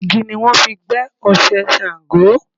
Igi ni wọ́n fi gbẹ́ Oṣé Ṣàngó.